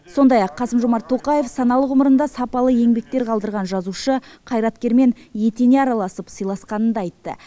сондай ақ қасым жомарт тоқаев саналы ғұмырында сапалы еңбектер қалдырған жазушы қайраткермен етене араласып сыйласқанын да айтты